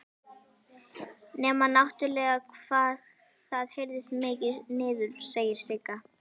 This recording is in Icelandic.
Nema náttúrlega hvað það heyrist mikið niður, segir Sigga.